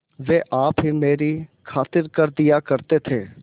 वे आप ही मेरी खातिर कर दिया करते थे